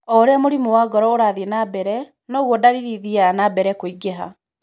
O ũrĩa mũrimũ wa ngoro ũrathiĩ na mbere, noguo ndariri ithiaga na mbere kũingĩha.